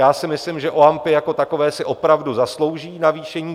Já si myslím, že OAMPy jako takové si opravdu zaslouží navýšení.